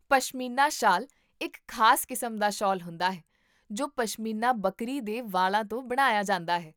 ਪਸ਼ਮੀਨਾ ਸ਼ਾਲ ਇੱਕ ਖ਼ਾਸ ਕਿਸਮ ਦਾ ਸ਼ਾਲ ਹੁੰਦਾ ਹੈ ਜੋ ਪਸ਼ਮੀਨਾ ਬੱਕਰੀ ਦੇ ਵਾਲਾਂ ਤੋਂ ਬਣਾਇਆ ਜਾਂਦਾ ਹੈ